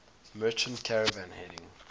merchant caravan heading